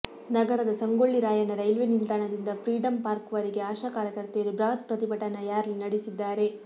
ನಗರದ ಸಂಗೊಳ್ಳಿ ರಾಯಣ್ಣ ರೈಲ್ವೆ ನಿಲ್ದಾಣದಿಂದ freedom park ವರಗೆ ಆಶಾಕಾರ್ಯಕರ್ತೆಯರು ಬೃಹತ್ ಪ್ರತಿಭಟನಾ ರ್ಯಾಲಿ ನಡೆಸಿದ್ದಾರೆ